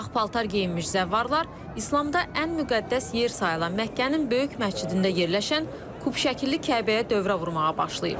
Ağ paltar geyinmiş zəvvarlar İslamda ən müqəddəs yer sayılan Məkkənin Böyük məscidində yerləşən kub şəkilli Kəbəyə dövrə vurmağa başlayıb.